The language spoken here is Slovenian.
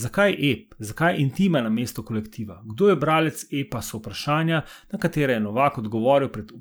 Zakaj ep, zakaj intima namesto kolektiva, kdo je bralec epa, so vprašanja, na katera je Novak odgovoril pred